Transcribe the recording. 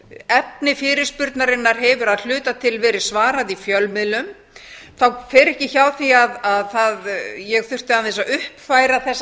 efni fyrirspurnarinnar hefur að hluta til verið svarað í fjölmiðlum þá fer ekki hjá því að ég þurfti aðeins að uppfæra þessa